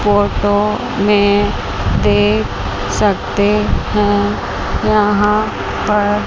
photo में देख सकते हैं यहां पर--